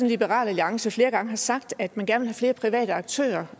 liberal alliance flere gange har sagt at man gerne flere private aktører